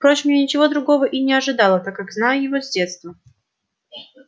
впрочем я ничего другого и не ожидала так как знаю его с детства